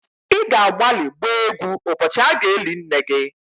Ị ga-agbalị gbaa égwú ụbọchị a ga-eli nne gị